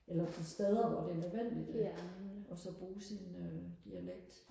eller de steder hvor det er nødvendigt og så bruge sin dialekt